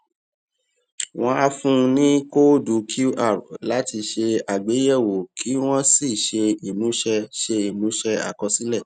wón á fún wa ní kóódù qr láti ṣe àgbéyèwò kí wón sì ṣe ìmúṣẹ ṣe ìmúṣẹ àkọsílẹ